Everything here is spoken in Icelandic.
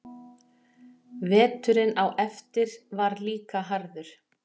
Veturinn á eftir var líka harður.